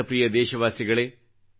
ನನ್ನ ಪ್ರಿಯ ದೇಶವಾಸಿಗಳೆ